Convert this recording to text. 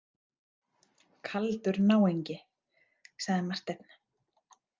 Kaldur náungi, sagði Marteinn.